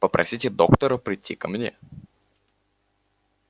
попросите доктора прийти ко мне